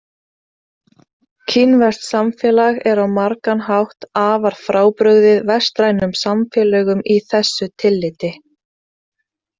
Kínverskt samfélag er á margan hátt afar frábrugðið vestrænum samfélögum í þessu tilliti.